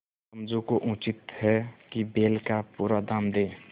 समझू को उचित है कि बैल का पूरा दाम दें